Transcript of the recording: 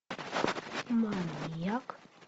маньяк